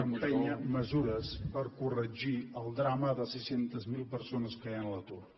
empènyer mesures per corregir el drama de sis cents miler per sones que hi han a l’atur